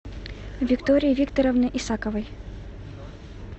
виктории викторовны исаковой